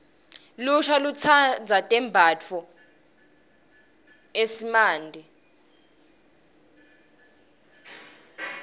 lusha lutsandza tembatfo eesimante